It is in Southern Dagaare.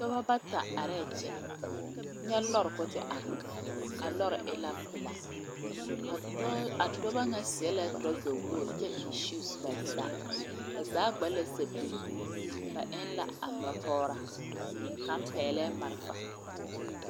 Dɔɔba bata are kyɛ, nyɛ lɔre ko te are a lɔre eŋɛ pelaa a dɔɔ a dɔɔba nyɛ seɛ la kpare wogre kyɛ eŋ shoes ba zaa, ba zaa gba la sepigle ba eŋ la a noɔ pɔgraa kaŋ peglee marefa.